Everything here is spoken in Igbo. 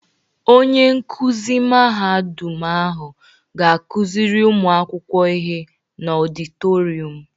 Onye nkuzi mahadu ahụ ga-akuzịrị ụmụakwụkwọ ihe n'ọditotrium